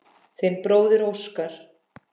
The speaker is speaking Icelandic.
Þinn bróðir Óskar.